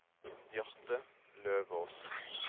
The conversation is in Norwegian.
Bjarte Løvås